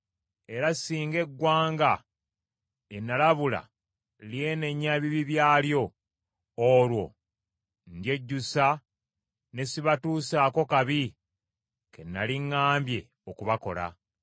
era singa eggwanga lye nalabula lyenenya ebibi byalyo, olwo ndyejjusa ne sibatuusaako kabi ke nnali ŋŋambye okubakola.